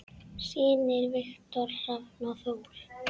Synir: Viktor Hrafn og Þór.